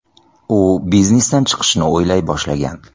U biznesdan chiqishni o‘ylay boshlagan.